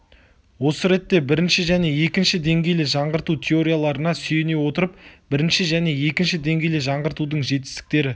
осы ретте бірінші және екінші деңгейлі жаңғырту теорияларына сүйене отырып бірінші және екінші деңгейлі жаңғыртудың жетістіктері